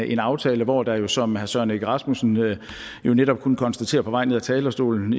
en aftale hvor der jo som herre søren egge rasmussen netop kunne konstatere på vej ned af talerstolen